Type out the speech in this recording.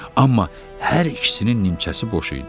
Amma hər ikisinin nimçəsi boş idi.